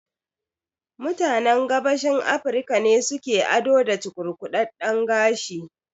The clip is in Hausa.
Mutanen Gabashin Afirika ne su ke ado da cukurkudadden gashi